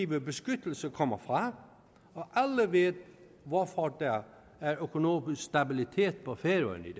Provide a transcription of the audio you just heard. beskyttelse kommer fra og alle ved hvorfor der er økonomisk stabilitet på færøerne i